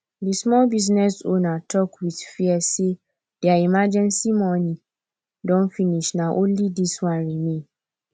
di small business owner talk with fear say their emergency money don finish na only this one remain